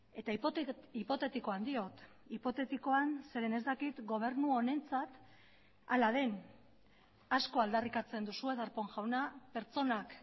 eta hipotetikoan diot hipotetikoan zeren ez dakit gobernu honentzat hala den asko aldarrikatzen duzue darpón jauna pertsonak